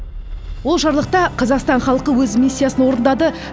ол жарлықта қазақстан халқы өз миссиясын орындады